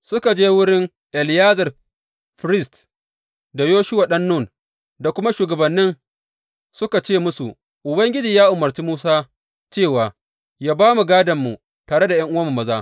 Suka je wurin Eleyazar firist, da Yoshuwa ɗan Nun, da kuma shugabannin, suka ce musu, Ubangiji ya umarci Musa cewa yă ba mu gādonmu tare da ’yan’uwanmu maza.